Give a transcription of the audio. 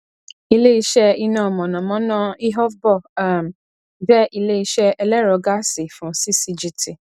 ileiṣẹ iná mọnamọná ihovbor um jẹ ileiṣẹ ẹlẹrọ gáàsì fún ccgt